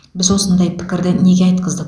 біз осындай пікірді неге айтқыздық